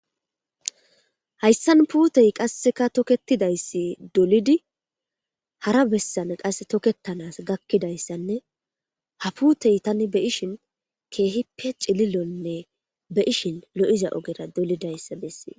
Hayisan pute qasika toketidayisi dolidi hara besan toketans gakidayisanne ha pute tani xelishin kehipe ci,lilonne be,ishin lo,iza ogera dolidayisa besees